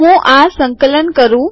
હું આ સંકલન કરું